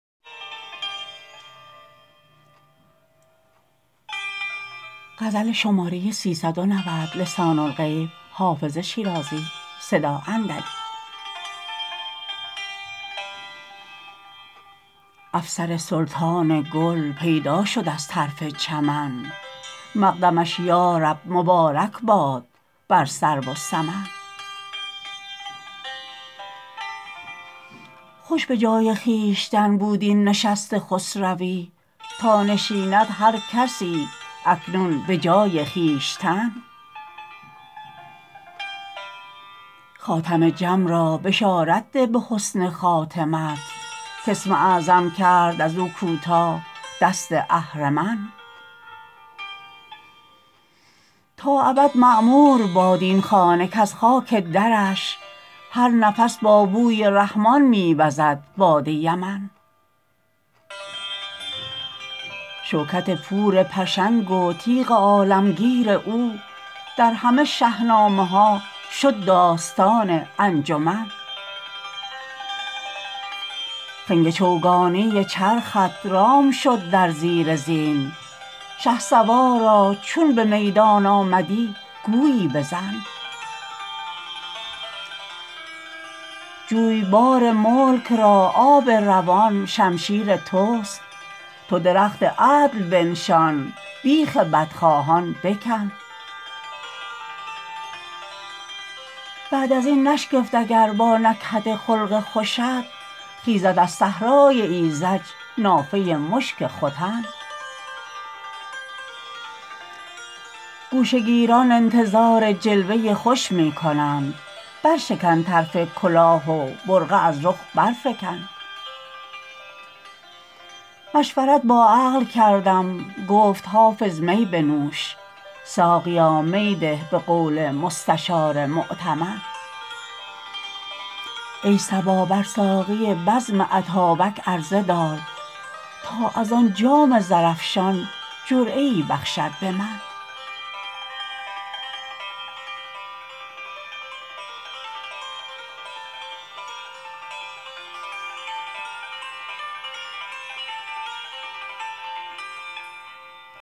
افسر سلطان گل پیدا شد از طرف چمن مقدمش یا رب مبارک باد بر سرو و سمن خوش به جای خویشتن بود این نشست خسروی تا نشیند هر کسی اکنون به جای خویشتن خاتم جم را بشارت ده به حسن خاتمت کاسم اعظم کرد از او کوتاه دست اهرمن تا ابد معمور باد این خانه کز خاک درش هر نفس با بوی رحمان می وزد باد یمن شوکت پور پشنگ و تیغ عالمگیر او در همه شهنامه ها شد داستان انجمن خنگ چوگانی چرخت رام شد در زیر زین شهسوارا چون به میدان آمدی گویی بزن جویبار ملک را آب روان شمشیر توست تو درخت عدل بنشان بیخ بدخواهان بکن بعد از این نشگفت اگر با نکهت خلق خوشت خیزد از صحرای ایذج نافه مشک ختن گوشه گیران انتظار جلوه خوش می کنند برشکن طرف کلاه و برقع از رخ برفکن مشورت با عقل کردم گفت حافظ می بنوش ساقیا می ده به قول مستشار مؤتمن ای صبا بر ساقی بزم اتابک عرضه دار تا از آن جام زرافشان جرعه ای بخشد به من